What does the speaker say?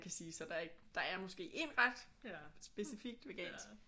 Kan sige så der er ikke der er måske én ret specifikt vegansk